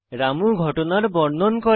রামু ঘটনার বর্ণন করে